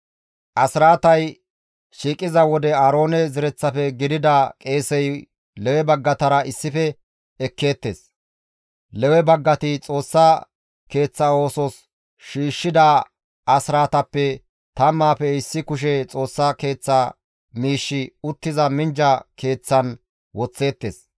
Asraatay shiiqiza wode Aaroone zereththafe gidida qeesey Lewe baggatara issife ekkeettes; Lewe baggati Xoossa Keeththa oosos shiishshida asraatappe tammaafe issi kushe Xoossa Keeththa miishshi uttiza minjja keeththan woththeettes.